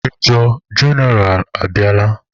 Major jeneral abịala.